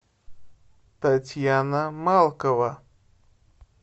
татьяна малкова